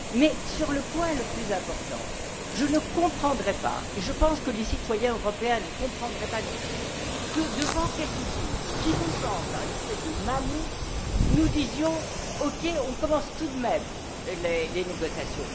Mais, et c'est là le point le plus important, je ne comprendrais pas et je pense que les citoyens européens ne comprendraient pas non plus que, devant quelque chose qui nous semble une espèce de mammouth, nous disions OK, on commence tout de même les négociations.